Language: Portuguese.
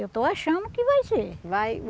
Eu estou achando que vai ser. Vai